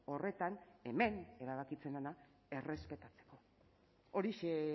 horretan hemen erabakitzen dena errespetatzea horixe